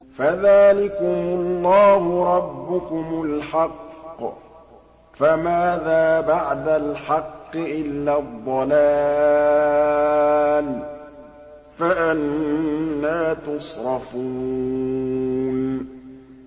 فَذَٰلِكُمُ اللَّهُ رَبُّكُمُ الْحَقُّ ۖ فَمَاذَا بَعْدَ الْحَقِّ إِلَّا الضَّلَالُ ۖ فَأَنَّىٰ تُصْرَفُونَ